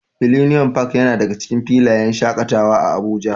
Millennium park yana daga cikin filayen shaƙatawa a Abuja.